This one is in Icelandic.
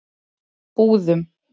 Búðum